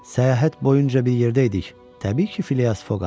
Səyahət boyunca bir yerdə idik, təbii ki, Filias Foqam.